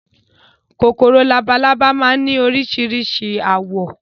Kòkòrò labalábá máa ni orísirísi àwọ̀